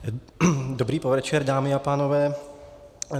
Dobrý podvečer, dámy a pánové.